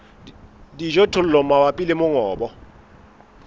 le dijothollo mabapi le mongobo